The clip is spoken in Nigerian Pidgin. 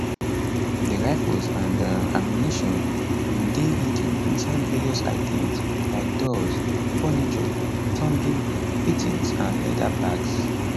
di rifles and um ammunition bin dey hidden inside various items like doors furniture plumbing fittings and leather bags